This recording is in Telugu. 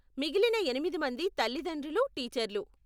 మిగిలిన ఎనిమిది మంది తల్లితండ్రులు, టీచర్లు.